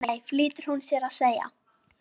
Nei, nei flýtir hún sér að segja.